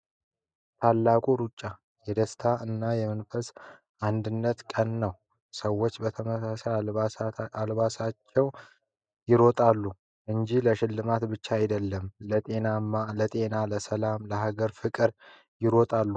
“ታላቁ ሩጫ” — የደስታ እና የመንፈሳዊ አንድነት ቀን ነው፤ ሰዎች በተመሳሳይ አልባሳቸው ይሮጣሉ እንጂ ለሽልማት ብቻ አይደለም፣ ለጤና፣ ለሰላምና ለአገር ፍቅር ይሮጣሉ።